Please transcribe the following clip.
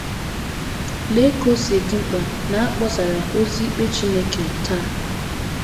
Lee ka o si dị mkpa na a kpọsara ozi ikpe Chineke taa!